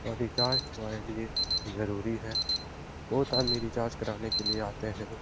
और रिचार्ज हमारे लिए जरुरी है। बहुत आदमी रिचार्ज कराने के लिए आते है।